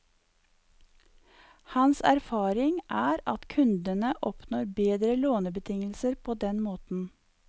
Hans erfaring er at kundene oppnår bedre lånebetingelser på den måten.